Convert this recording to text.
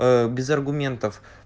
без аргументов